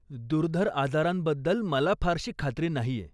दुर्धर आजारांबद्दल मला फारशी खात्री नाहीय.